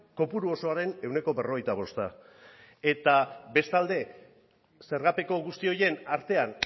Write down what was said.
kopuru osoaren ehuneko berrogeita bosta eta bestalde zergapeko guzti horien artean